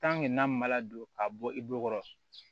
n'a ma ladon k'a bɔ i bolo